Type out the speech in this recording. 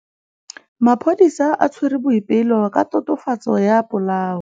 Maphodisa a tshwere Boipelo ka tatofatsô ya polaô.